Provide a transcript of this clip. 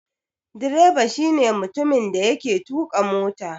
Direba shi ne mutumin da yake tuƙa mota.